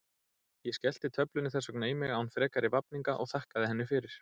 Ég skellti töflunni þess vegna í mig án frekari vafninga og þakkaði henni fyrir.